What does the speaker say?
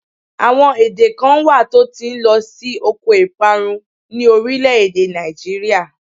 Àwọn èdè kan wà tó ti ń lọ sí oko ìparun ni orílé-èdè Nigeria